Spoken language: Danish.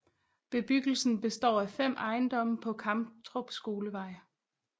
Bebyggelsen består af 5 ejendomme på Kamtrup Skolevej